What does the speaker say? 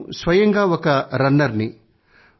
నేను స్వయంగా ఒక రన్నర్ ని